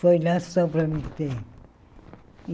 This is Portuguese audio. Foi lá só para me ter.